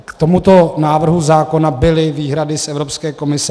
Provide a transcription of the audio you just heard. K tomuto návrhu zákona byly výhrady z Evropské komise.